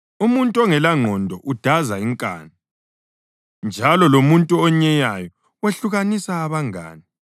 Umuntu ongelangqondo udaza inkani, njalo lomuntu onyeyayo wehlukanisa abangane.